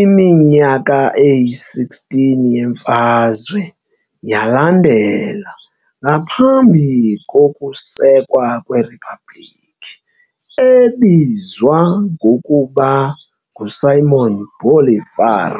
iminyaka eyi-16 yemfazwe yalandela ngaphambi kokusekwa kweRiphabhlikhi, ebizwa ngokuba nguSimón Bolívar.